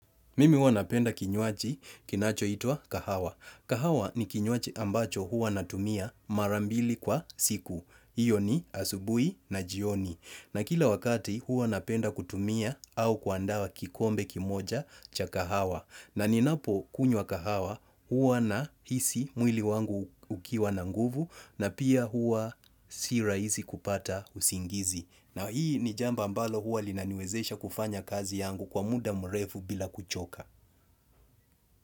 Mimi huwa napenda kinywaji kinachoitwa kahawa. Kahawa ni kinywaji ambacho hua natumia mara mbili kwa siku. Iyo ni asubuhi na jioni. Na kila wakati huwa napenda kutumia au kuandaa kikombe kimoja cha kahawa. Na ninapokunywa kahawa huwa nahisi mwili wangu ukiwa na nguvu na pia huwa si rahisi kupata usingizi. Na hii ni jambo ambalo huwa linaniwezesha kufanya kazi yangu kwa muda mrefu bila kuchoka.